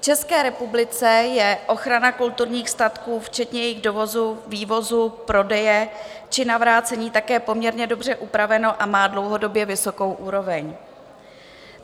V České republice je ochrana kulturních statků včetně jejich dovozu, vývozu, prodeje či navrácení také poměrně dobře upraveno a má dlouhodobě vysokou úroveň.